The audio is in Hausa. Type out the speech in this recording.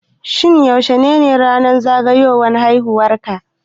Shin yaushe ne ranar zagayowan haiwuwar ka